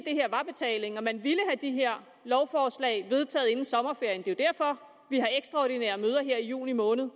her var betalingen og at man ville have de her lovforslag vedtaget inden sommerferien det er jo derfor vi har ekstraordinære møder her i juni måned